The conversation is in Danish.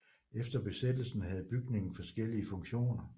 Efter besættelsen havde bygningen forskellige funktioner